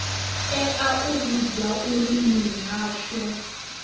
tea u vhudzwa uri mihasho